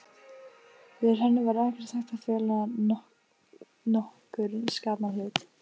Fyrir henni var ekki hægt að fela nokkurn skapaðan hlut.